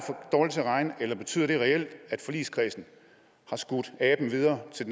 dårlig til at regne eller betyder det reelt at forligskredsen har skudt aben videre til